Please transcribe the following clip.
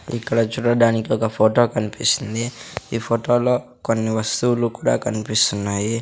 ఇక్కడ చూడడానికి ఒక ఫొటో కన్పిస్తుంది ఈ ఫొటో లో కొన్ని వస్తువులు కూడా కన్పిస్తున్నాయి.